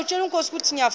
aphek ukutya canda